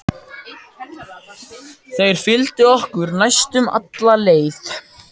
Þeir fylgdu okkur næstum alla leið.